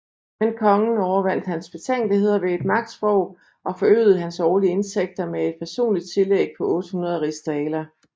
Men kongen overvandt hans betænkeligheder ved et magtsprog og forøgede hans årlige indtægter med et personligt tillæg på 800 rigsdaler